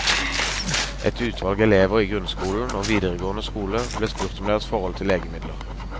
Et utvalg elever i grunnskolen og videregående skole ble spurt om deres forhold til legemidler.